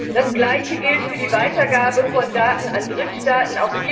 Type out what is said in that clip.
Das Gleiche gilt für die Weitergabe von Daten an Drittstaaten.